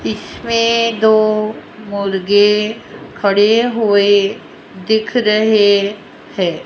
इसमें दो मुर्गे खड़े हुए दिख रहे है।